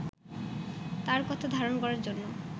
তাঁর কথা ধারণ করার জন্য